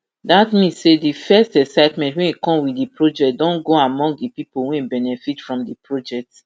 dat mean say di first excitement wey come wit di project don go among di pipo wey benefit from di project